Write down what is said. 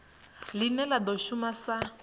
line la do shuma sa